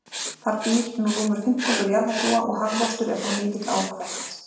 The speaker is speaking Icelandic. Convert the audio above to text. Þar býr nú rúmur fimmtungur jarðarbúa og hagvöxtur er þar mikill ár hvert.